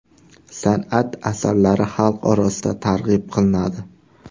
San’at asarlari xalq orasida targ‘ib qilinadi.